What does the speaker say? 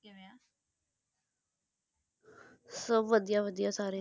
ਸਭ ਵਧੀਆ ਵਧੀਆ ਸਾਰੇ